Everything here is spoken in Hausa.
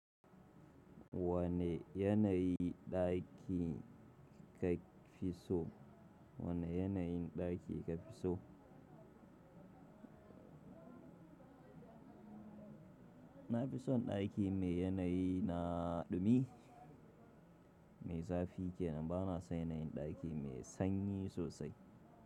Wane yanayi ɗaki ka fi so? Wane yanayin ɗaki ka fi so? Na fi son ɗaki mai yanayi na dumi mai zafi ke nan. Ba na son yanayin ɗaki mai sanyi sosai.